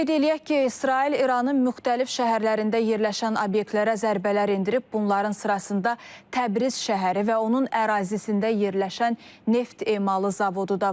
Qeyd eləyək ki, İsrail İranın müxtəlif şəhərlərində yerləşən obyektlərə zərbələr endirib, bunların sırasında Təbriz şəhəri və onun ərazisində yerləşən neft emalı zavodu da var.